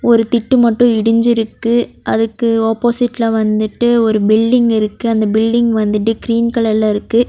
ஒரு திட்டு மட்டும் இடிஞ்சிருக்கு அதுக்கு ஆப்போசிட்ல வந்துட்டு ஒரு பில்டிங் இருக்கு அந்த பில்டிங் வந்துட்டு கிரீன் கலர்ல இருக்கு.